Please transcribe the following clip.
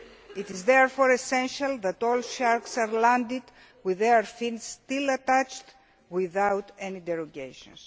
It is therefore essential that all sharks are landed with their fins still attached, without any derogations.